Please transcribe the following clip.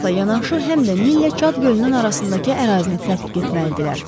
Vogeli axtarmaqla yanaşı həm də Nillə Çad gölünün arasındakı ərazini tədqiq etməlidirlər.